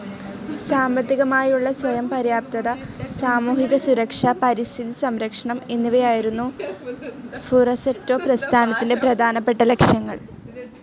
സാമ്പത്തികമായുള്ള സ്വയം പര്യാപ്തത, സാമൂഹിക സുരക്ഷ, പരിസ്ഥിതി സംരക്ഷണം എന്നിവയായിരുന്നു ഫുറസറ്റോ പ്രസ്ഥാനത്തിന്റെ പ്രധാനപ്പെട്ട ലക്ഷ്യങ്ങൾ.